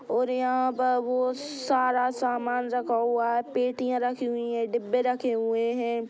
और यहा बहोत सारा सामान रखा हुआ है पेटिया रखी हुई है डिब्बे रखे हुए है।